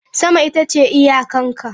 Sama ita ce iyakan ka.